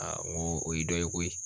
ŋo o ye dɔ ye koyi